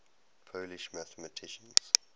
polish mathematicians